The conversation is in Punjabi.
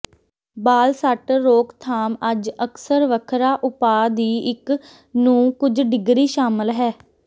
ਬਾਲ ਸੱਟ ਰੋਕਥਾਮ ਅੱਜ ਅਕਸਰ ਵੱਖਰਾ ਉਪਾਅ ਦੀ ਇੱਕ ਨੂੰ ਕੁਝ ਡਿਗਰੀ ਸ਼ਾਮਲ ਹੈ